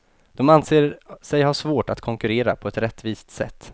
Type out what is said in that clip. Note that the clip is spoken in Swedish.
De anser sig ha svårt att konkurrera på ett rättvist sätt.